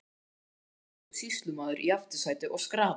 Þar sitja forseti og sýslumaður í aftursæti og skrafa.